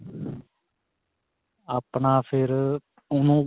ਆਪਣਾ ਫੇਰ ਉਹਨੂੰ